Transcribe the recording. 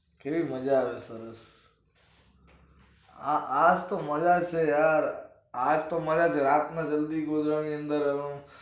કેવી મજા આવે છે સરસ આ આજ તો મજા છે યાર આજ તો મજા જ હોય રાત ના જલ્દી ગોદડાની અંદર